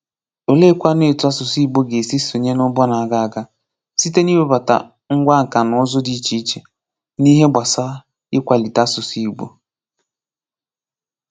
Olee kwanu etu asụsụ Igbo ga - esi sonyé n'ụgbọ na-aga aga, site n'iwebata ngwá nkà n'ụzọ dị iche iche, n'ihe gbasara ịkwalite asụsụ Igbo